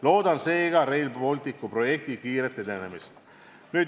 Loodan seega Rail Balticu projekti kiiret edenemist.